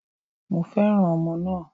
Mo fẹ́ràn ọmọ náà